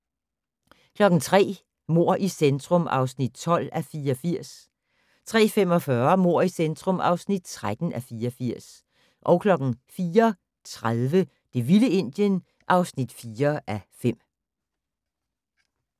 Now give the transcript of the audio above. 03:00: Mord i centrum (12:84) 03:45: Mord i centrum (13:84) 04:30: Det vilde Indien (4:5)